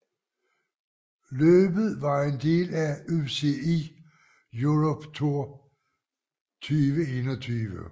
Løbet var en del af UCI Europe Tour 2021